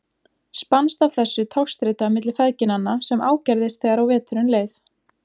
Spannst af þessu togstreita milli feðginanna sem ágerðist þegar á veturinn leið.